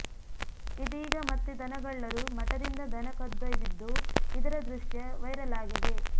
ಇದೀಗ ಮತ್ತೆ ದನಗಳ್ಳರು ಮಠದಿಂದ ದನ ಕದ್ದೊಯ್ದಿದ್ದು ಇದರ ದೃಶ್ಯ ವೈರಲ್ ಆಗಿದೆ